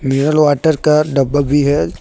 Mineral water का डब्बा भी है।